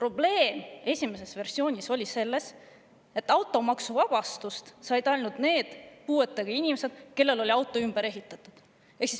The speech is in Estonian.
Esimese versiooni puhul seisnes probleem selles, et automaksuvabastust said ainult need puuetega inimesed, kelle auto oli ümber ehitatud.